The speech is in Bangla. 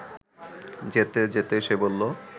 যেতে যেতে সে বলল